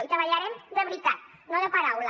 i treballarem de veritat no de paraula